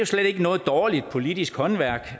slet ikke noget dårligt politisk håndværk